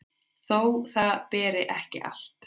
þó það beri ekki allt